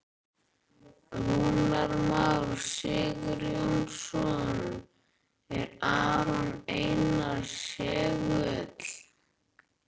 Hver ber ábyrgðina frá sjónarhorni trygginga?